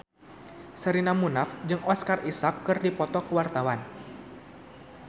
Sherina Munaf jeung Oscar Isaac keur dipoto ku wartawan